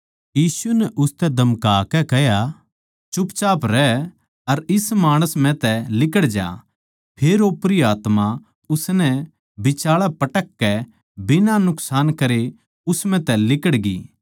यीशु नै उसतै धमकाकै कह्या बोलबाल्ली रहै अर इस माणस म्ह तै लिकड़ जा फेर ओपरी आत्मा उसनै बिचाळै पटककै बिना नुकसान करे उस म्ह तै लिकड़गी